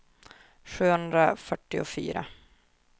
sjuhundrafyrtiofyra